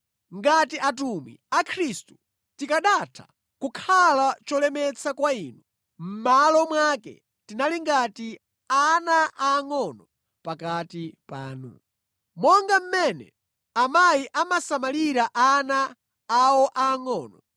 Ngati atumwi a Khristu tikanatha kukhala cholemetsa kwa inu, mʼmalo mwake tinali ngati ana aangʼono pakati panu. Monga mmene amayi amasamalira ana awo angʼono,